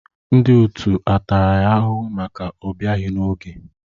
Ndị otu a tara ya ahụhụ maka ọbịaghi n'oge?